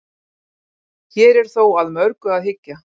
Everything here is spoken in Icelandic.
Hér er þó að mörgu að hyggja.